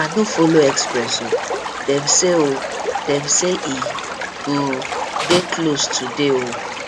i no folo express o dem say o dem say e um dey close today um